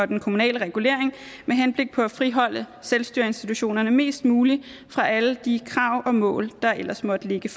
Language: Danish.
den kommunale regulering med henblik på at friholde selvstyreinstitutionerne mest muligt fra alle de krav og mål der ellers måtte ligge